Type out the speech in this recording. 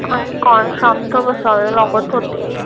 हाही काळ शांत बसावे लागत होते.